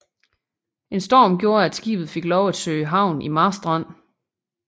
En storm gjorde at skibet fik lov at søge havn i Marstrand